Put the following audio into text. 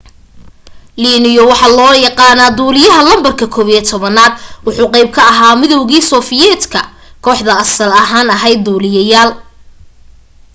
leono waxaa loo yaqaana duliyaha lambarka 11 wuxuu qeyb ka ahaa midowga soviet ka kooxda asaal ahan aheyd duliyaal